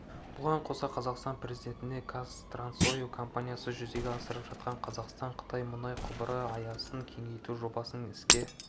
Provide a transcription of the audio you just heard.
бұған қоса қазақстан президентіне қазтрансойл компаниясы жүзеге асырып жатқан қазақстан-қытай мұнай құбыры аясын кеңейту жобасының іске